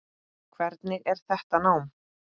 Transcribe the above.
Hvernig er þetta nám?